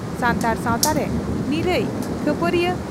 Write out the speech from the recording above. ᱥᱟᱱᱛᱟᱲ ᱥᱟᱣᱛᱟᱨᱮ ᱱᱤᱭᱟᱣ ᱠᱷᱟᱹᱯᱟᱹᱨᱤᱭᱟᱹ